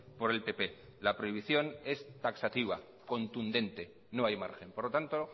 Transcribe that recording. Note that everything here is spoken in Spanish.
por el pp la prohibición es taxativa contundente no hay margen por lo tanto